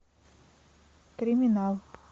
криминал